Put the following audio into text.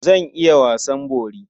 Zan iya wasan bori.